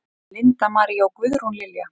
Linda María og Guðrún Lilja.